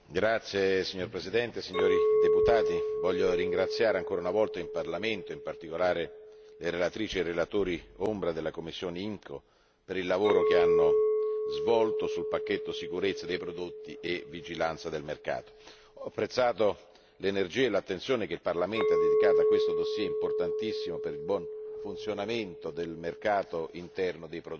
Signor Presidente, onorevoli deputati, desidero ringraziare ancora una volta il Parlamento e in particolare le relatrici e i relatori ombra della commissione IMCO per il lavoro svolto sul pacchetto sulla sicurezza dei prodotti e vigilanza del mercato. Ho apprezzato l'energia e l'attenzione che il Parlamento ha dedicato a questo dossier importantissimo per il buon funzionamento del mercato interno dei prodotti.